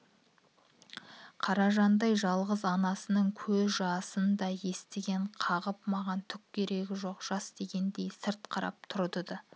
қаражандай жалғыз анасының көз жасынан да етегін қағып маған түк керегі жоқ жас дегендей сырт қарап тұрған-ды